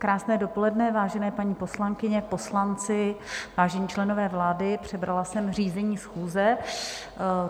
Krásné dopoledne, vážené paní poslankyně, poslanci, vážení členové vlády, přebrala jsem řízení schůze.